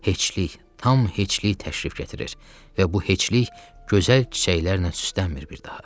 Heçlik, tam heçlik təşrif gətirir və bu heçlik gözəl çiçəklərlə süslənmir bir daha.